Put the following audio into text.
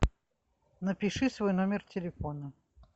напиши свой номер телефона